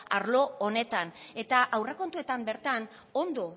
arlo honetan eta aurrekontuetan bertan ondo